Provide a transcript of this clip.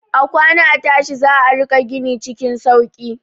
A kwana a tashi za a riƙa gini cikin sauki.